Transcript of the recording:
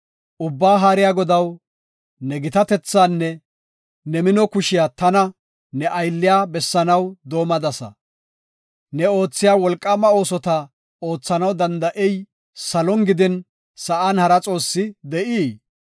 “Ubbaa Haariya Godaw, ne gitatethaanne ne mino kushiya tana, ne aylliya bessanaw doomadasa. Ne oothiya wolqaama oosota oothanaw danda7ey salon gidin sa7an hara xoossi de7ii?